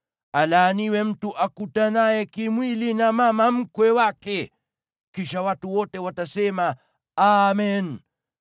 “Alaaniwe mtu akutanaye kimwili na mama mkwe wake.” Kisha watu wote watasema, “Amen!”